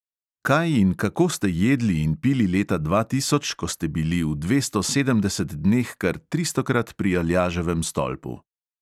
Kaj in kako ste jedli in pili leta dva tisoč, ko ste bili v dvesto sedemdeset dneh kar tristokrat pri aljaževem stolpu?